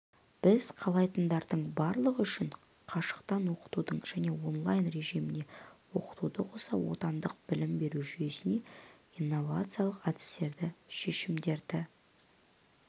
біз қалайтындардың барлығы үшін қашықтан оқытуды және онлайн режімінде оқытуды қоса отандық білім беру жүйесіне инновациялық әдістерді шешімдерді